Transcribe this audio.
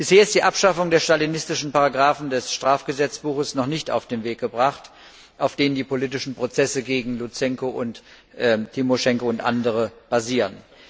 Bisher ist die Abschaffung der stalinistischen Paragrafen des Strafgesetzbuches noch nicht auf den Weg gebracht, auf denen die politischen Prozesse gegen Luzenko und Timoschenko und andere basieren.